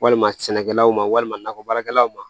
Walima sɛnɛkɛlaw ma walima nakɔ baarakɛlaw ma